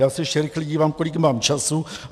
Já se ještě rychle dívám, kolik mám času.